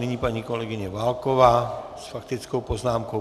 Nyní paní kolegyně Válková s faktickou poznámkou.